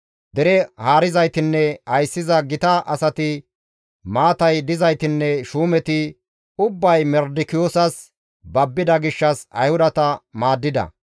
Dere haarizaytinne ayssiza gita asati, maatay dizaytinne shuumeti ubbay Mardikiyoosas babbida gishshas Ayhudata maaddida.